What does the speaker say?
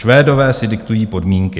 Švédové si diktují podmínky."